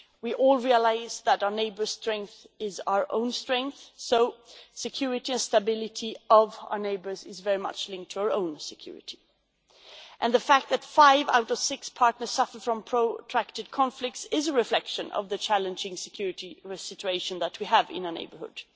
We all realise that our neighbour's strength is our own strength, so our neighbours' security and stability are very much linked to our own security. The fact that five out of six partners suffer from protracted conflicts is a reflection of the challenging security situation that we have in our neighbourhood.